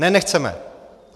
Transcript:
Ne, nechceme.